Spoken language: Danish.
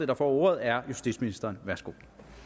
der får ordet er justitsministeren værsgo